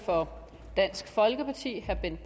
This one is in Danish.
herre